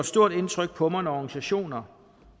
stort indtryk på mig når organisationer